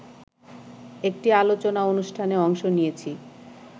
একটি আলোচনা অনুষ্ঠানে অংশ নিয়েছি